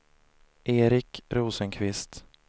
Erik Rosenqvist